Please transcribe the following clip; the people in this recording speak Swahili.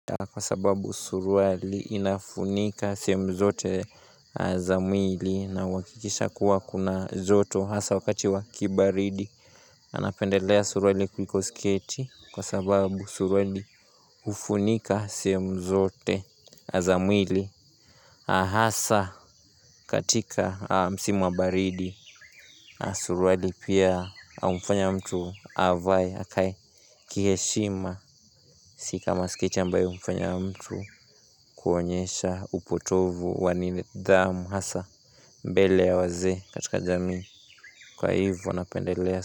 Kwa sababu suruali inafunika sehemu zote za mwili na huhakikisha kuwa kuna joto hasa wakati wa kibaridi. Anapendelea suruali kuliko skieti kwa sababu suruali hufunika sehemu zote za mwili hasa katika msimu wa baridi. Suruali pia humfanya mtu avae akae kiheshima si kama sketi ambayo humfanya mtu kuonyesha upotovu wa nidhamu hasa mbele ya wazee katika jamii. Kwa hivyo napendelea.